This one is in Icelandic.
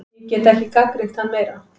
Ég get ekki gagnrýnt hann meira.